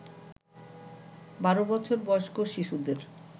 বারো বছর বয়স্ক শিশুদের